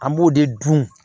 An b'o de dun